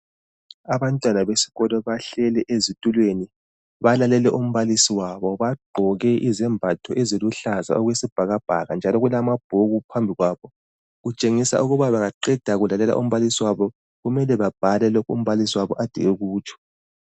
Abantwana besikolo bahleli ezitulweni, balalele umbalisi wabo. Bagqoke izembatho eziluhlaza okwesibhakabhaka. Njalo kulama bhuku phambi kwabo. Kutshengisa ukuba bangaqeda ukulalela umbalisi wabo kumele babhale lokho umbalisi wabo ekade ekutsho.